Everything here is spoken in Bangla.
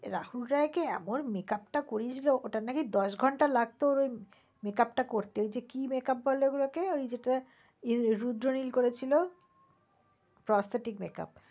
রাহুল রয়কে এমন makeup টা করিয়েছিল ওটার নাকি দশ ঘন্টা লাগত makeup টা করতে। ঐ কি makeup বলে ওই গুলাকে? ওই যেটা রোদ্র নীল করেছিল? prosthetic makeup